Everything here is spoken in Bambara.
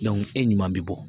e ɲuman bɛ bɔ